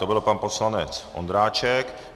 To byl pan poslanec Ondráček.